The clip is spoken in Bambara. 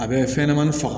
A bɛ fɛn ɲɛnɛmani faga